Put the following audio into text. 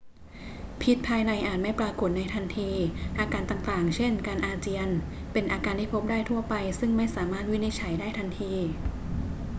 พิษภายในอาจไม่ปรากฏในทันที อาการต่าง ๆ เช่น การอาเจียนเป็นอาการที่พบได้ทั่วไปซึ่งไม่สามารถวินิจฉัยได้ทันที